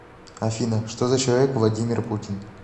афина что за человек владимир путин